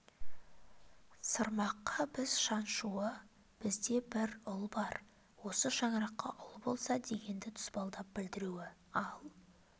сырмаққа біз шаншуы бізде бір ұл бар осы шаңыраққа ұл болса дегенді тұспалдап білдіруі ал